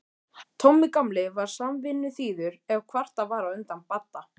Tommi gamli var samvinnuþýður ef kvartað var undan Badda.